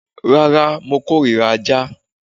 Rárá, mo kórira aja